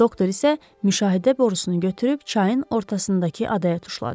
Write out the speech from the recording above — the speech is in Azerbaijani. Doktor isə müşahidə borusunu götürüb çayın ortasındakı adaya tuşladı.